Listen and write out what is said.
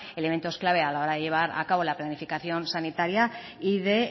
elementos clave a la hora de llevar a cabo la planificación sanitaria y de